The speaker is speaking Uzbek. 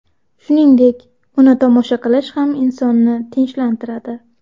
Shuningdek, uni tomosha qilish ham insonni tinchlantiradi”.